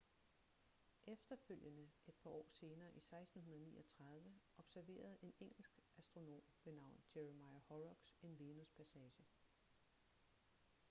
efterfølgende et par år senere i 1639 observerede en engelsk astronom ved navn jeremiah horrocks en venuspassage